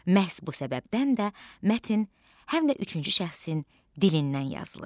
Məhz bu səbəbdən də mətn həm də üçüncü şəxsin dilindən yazılır.